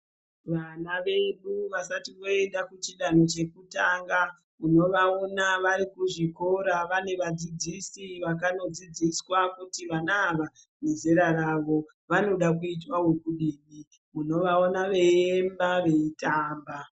Vana vedu vasati voend kuchidanho chekutanga unovaona varikuzvikora vane vadzidzisi vakanodzidziswa kuti vana ava nezera ravo vanoda kuitwa ekudini unovaona veiemba nekutamba.